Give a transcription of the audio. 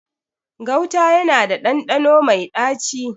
Gauta yana da ɗanɗano mai ɗaci.